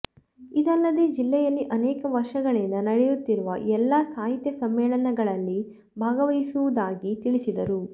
ಇದಲ್ಲದೇ ಜಿಲ್ಲೆಯಲ್ಲಿ ಅನೇಕ ವರ್ಷಗಳಿಂದ ನಡೆಯುತ್ತಿರುವ ಎಲ್ಲಾ ಸಾಹಿತ್ಯ ಸಮ್ಮೇಳನಗಳಲ್ಲಿ ಭಾಗವಹಿಸಿರುವುದಾಗಿ ತಿಳಿಸಿದರು